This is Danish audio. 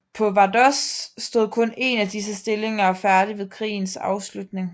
På Vardås stod kun én af disse stillinger færdig ved krigens afslutning